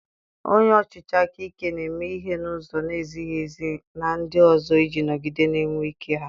Onye ọchịchị aka ike na-eme ihe n'ụzọ na-ezighị ezi na ndị ọzọ iji nọgide na-enwe ike ha